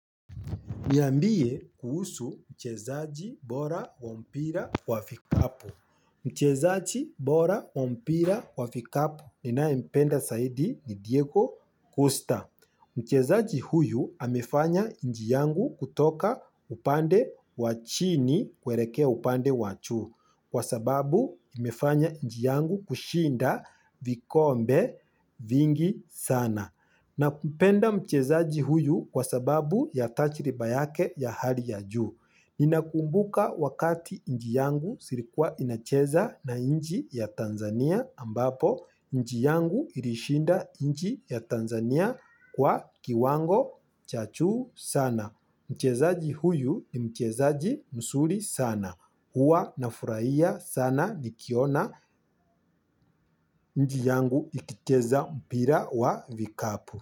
Niambie kuhusu mchezaji bora, wa mpira, wavi kapu. Mchezaji bora, wa mpira, wavi kapu ni nae mpenda saidi ni Diego Kusta. Mchezaji huyu amefanya nchi yangu kutoka upande wachini kuerekea upande wachu. Kwa sababu imefanya nji yangu kushinda vikombe vingi sana. Na kumpenda mchezaji huyu kwa sababu ya tachiriba yake ya hali ya ju. Nina kumbuka wakati nji yangu sirikuwa inacheza na nji ya Tanzania ambapo nji yangu irishinda nji ya Tanzania kwa kiwango cha chuu sana. Mchezaji huyu ni mchezaji msuri sana. Huwa na furaia sana nikiona nchi yangu ikicheza mpira wa vikapu.